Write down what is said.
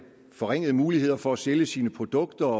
forringede muligheder for at sælge sine produkter